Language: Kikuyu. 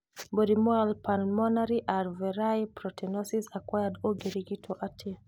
Mũrimũ wa Pulmonary alveolar proteinosis acquired ũngĩrigitwo atĩa?